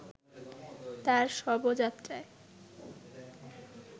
তার শবযাত্রায়